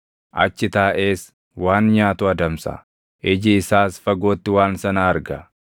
Achi taaʼees waan nyaatu adamsa; iji isaas fagootti waan sana arga.